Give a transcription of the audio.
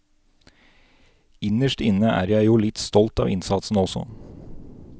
Innerst inne er jeg jo litt stolt av innsatsen også.